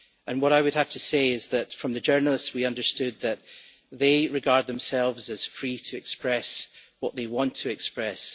What I would have to say is that from the journalists we understood that they regard themselves as free to express what they want to express.